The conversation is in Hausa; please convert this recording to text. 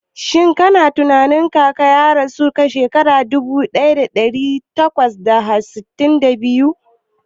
Shin kana tunanin Kaka ya rayu shekara dubu daya da dari takwas da sittin da biyu?